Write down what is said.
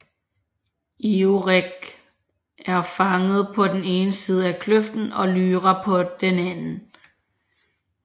Iorek er fanget på den ene side af kløften og Lyra på den anden